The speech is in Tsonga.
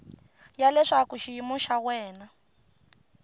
ya leswaku xiyimo xa wena